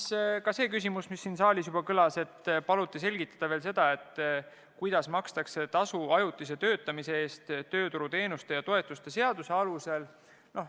Esitati ka küsimus, mis täna siin saaliski kõlas: paluti veel selgitada, kuidas makstakse tasu ajutise töötamise eest tööturuteenuste ja -toetuste seaduse alusel.